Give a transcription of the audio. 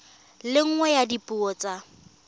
le nngwe ya dipuo tsa